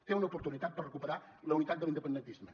té una oportunitat per recuperar la unitat de l’independentisme